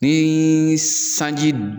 Nii sanji